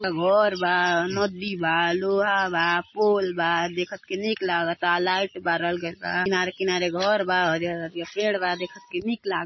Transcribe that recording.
घर बा। नदी बा लोहा बा। पोल बा। देखत की निक लागत बा। लाइट बारल गईल बा। किनारे किनारे घर बा पेड़ बा। देखत के निक लागता।